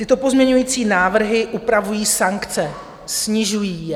Tyto pozměňovací návrhy upravují sankce, snižují je.